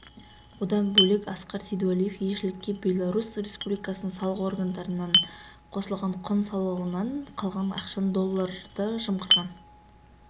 одан бөлек асқар сейдуәлиев елшілікке беларусь республикасының салық органдарынан қосылған құн салығынан қалған ақшаны долларды жымқырған